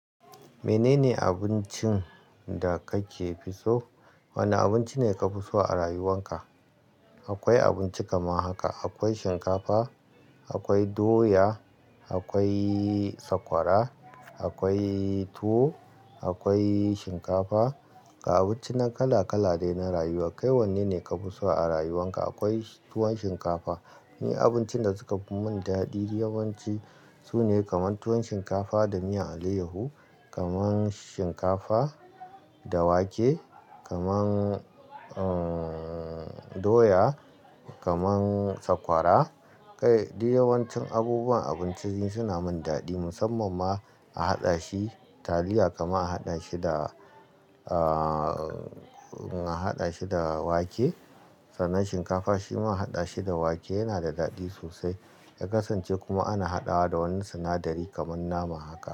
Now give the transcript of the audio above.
Menene abincin da kake fi so? Wane abinci ne ka fi so a rayuwanka? Akwai abinci kamar haka, akwai shinkafa, akwai doya, akwai sakwara, akwai tuwo, akwai shinkafa. Abinci na kala kala ne na rayuwa. Kai wanne ne ka fi so a rayuwanka? Akwai tuwon shinkafa. Ni abincin da suka mun daɗi, yawan ci sune kamar tuwon shinkafa da miyan allayyahu, kamar shinkafa da wake, kamar doya, kamar sakwara. Kai, duk yawan cin abubuwan abinci suna mun daɗi, musamman ma a haɗa shi taliya kamar a haɗa shi da, a haɗa shi da wake. Sanan shinkafa shima a haɗa shi da wake yana da daɗi sosai. Ya kasance kuma ana hadawa da wani sinadari kamar nama haka.